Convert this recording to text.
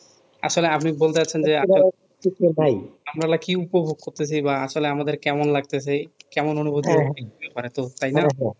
আসলে আপনি বলতে চাচ্ছেন যে ভাই আপনারা কি উপভোগ করতেছি বা আসলে আমাদের কেমন লাগতেছে কেমন অনুভুতি হতে পারে তো তাই না